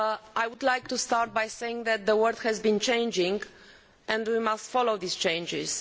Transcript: I would like to start by saying that the work has changed and we must follow these changes.